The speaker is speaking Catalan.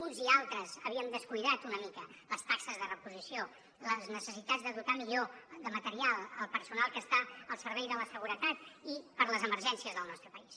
uns i altres havíem descuidat una mica les taxes de reposició les necessitats de dotar millor de material el personal que està al servei de la seguretat i per a les emergències del nostre país